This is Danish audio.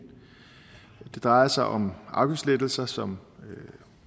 det drejer sig om afgiftslettelser som